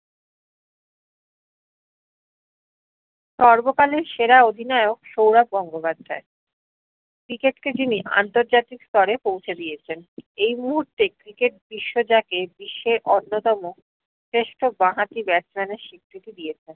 সর্বকালের সেরা অধিনায়ক সৌরভ গঙ্গোপাধ্যায়। cricket কে যিনি আন্তর্জাতিক স্তরে পৌঁছে দিয়েছেন। এই মুহূর্তে cricket বিশ্ব যাকে বিশ্বের অন্যতম শ্রেষ্ঠ বাঁ হাতি batsman এর স্বীকৃতি দিয়েছে।